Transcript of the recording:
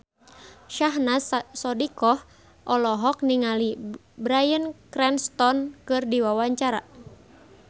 Syahnaz Sadiqah olohok ningali Bryan Cranston keur diwawancara